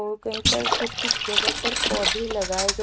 वो कहीं पर कुछ कुछ जगह पर पौधे लगाए ग--